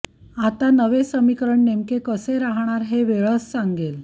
आता नवे समीकरण नेमके कसे राहणार हे वेळच सांगेल